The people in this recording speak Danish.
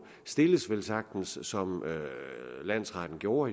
stilles velsagtens som landsretten gjorde